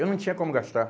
Eu não tinha como gastar.